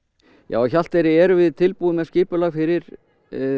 á Hjalteyri erum við tilbúin með skipulag fyrir